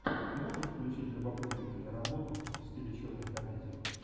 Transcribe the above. можешь включить любопытную киноработу в стиле черной комедии